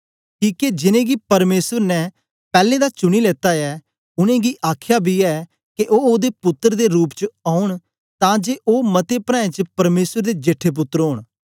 किके जिनेंगी परमेसर ने पैलैं दा चुनी लेता ऐ उनेंगी आखया बी ऐ के ओ ओदे पुत्तर दे रूप च ओन तां जे ओ मते प्राऐं च परमेसर दे जेठे पुत्तर ओन